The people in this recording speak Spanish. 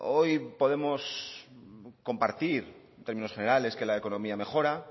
hoy podemos compartir en términos generales que la economía mejora